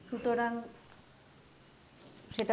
সুতরাং সেটা